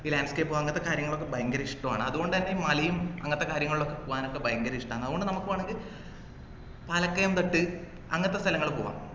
landscape ഉം അങ്ങത്തെ കാര്യങ്ങളൊക്കെ ഭയങ്കര ഇഷ്ടാണ് അതുകൊണ്ടുതന്നെ ഈ മലയും അങ്ങത്തെ കാര്യങ്ങളും പോകാൻ ഒക്കെ ഭയങ്കര ഇഷ്ടാണ് അതുകൊണ്ട് നമുക്ക് വേണമെങ്കിൽ പാലക്കയം തട്ട് അങ്ങത്തെ സ്ഥലങ്ങളി പോകാം